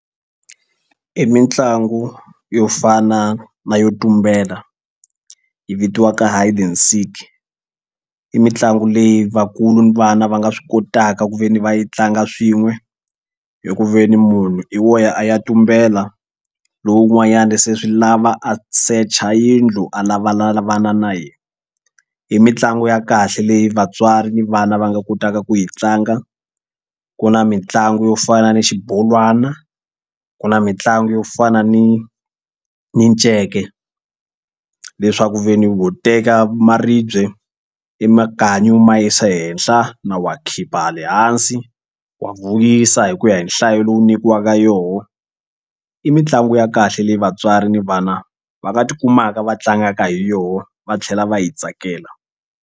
I mitlangu yo fana na yo tumbela yi vitiwaka hide and seek i mitlangu leyi vakulu ni vana va nga swi kotaka ku ve ni va yi tlanga swin'we hi ku ve ni munhu i wo ya a ya tumbela lowun'wanyana se swi lava a search-a yindlu a lavalavana na yena. I mitlangu ya kahle leyi vatswari ni vana va nga kotaka ku yi tlanga ku na mitlangu yo fana ni xibolwana ku na mitlangu yo fana ni minceke leswaku ku ve ni ho teka maribye ni makanyi u ma yisa ehenhla na wa khipa ha le hansi wa vuyisa hi ku ya hi nhlayo lowu nyikiwaka yona i mitlangu ya kahle leyi vatswari ni vana va nga tikumaka va tlangaka hi yona va tlhela va yi tsakela.